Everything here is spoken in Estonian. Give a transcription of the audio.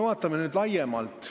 Vaatame laiemalt.